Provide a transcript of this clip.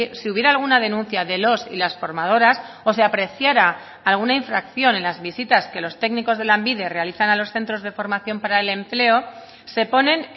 si hubiera alguna denuncia de los y las formadoras o se apreciara alguna infracción en las visitas que los técnicos de lanbide realizan a los centros de formación para el empleo se ponen